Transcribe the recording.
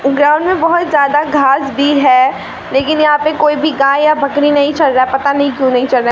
ground में बहोत जादा घास भी है लेकिन यहां पे कोई भी गाय या बकरी नहीं चर रहा पता नहीं क्यों नहीं चर रहा --